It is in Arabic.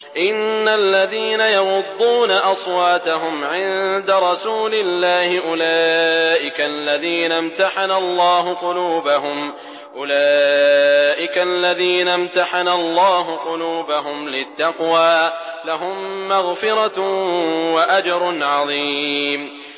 إِنَّ الَّذِينَ يَغُضُّونَ أَصْوَاتَهُمْ عِندَ رَسُولِ اللَّهِ أُولَٰئِكَ الَّذِينَ امْتَحَنَ اللَّهُ قُلُوبَهُمْ لِلتَّقْوَىٰ ۚ لَهُم مَّغْفِرَةٌ وَأَجْرٌ عَظِيمٌ